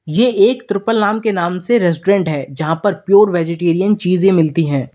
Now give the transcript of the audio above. ये एक त्रिपल नाम के नाम से रेस्टोरेंट है जहां पर प्योर वैजीटेरेयन चीजें मिलती है।